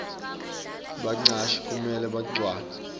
bacashi kumele bagcwalise